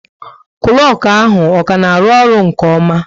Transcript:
Klọku ahụ ọ ka na arụ-ọrụ nke oma?